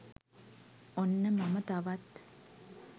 ඔන්න මම තවත්